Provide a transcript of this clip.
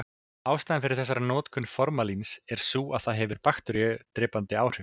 Ástæðan fyrir þessari notkun formalíns er sú að það hefur bakteríudrepandi áhrif.